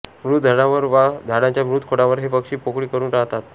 मृत झाडांवर वा झाडांच्या मृत खोडांवर हे पक्षी पोकळी करून राहतात